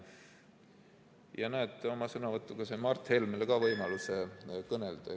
Ja näed, oma sõnavõtuga sain ka Mart Helmele anda võimaluse kõnelda.